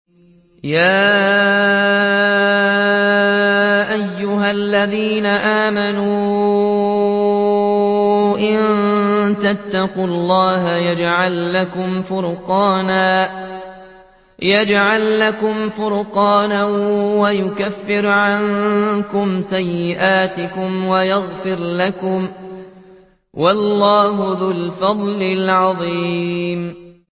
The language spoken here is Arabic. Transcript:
يَا أَيُّهَا الَّذِينَ آمَنُوا إِن تَتَّقُوا اللَّهَ يَجْعَل لَّكُمْ فُرْقَانًا وَيُكَفِّرْ عَنكُمْ سَيِّئَاتِكُمْ وَيَغْفِرْ لَكُمْ ۗ وَاللَّهُ ذُو الْفَضْلِ الْعَظِيمِ